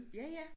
Ja ja